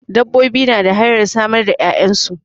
Dabbobi na da hanyar samar da 'ya'yansu.